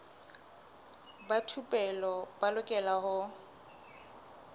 ba thupelo ba lokela ho